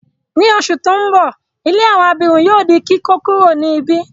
Ni oṣù ti n bọ, ilé àwọn abirùn yóò di kíkókuro ni ibi.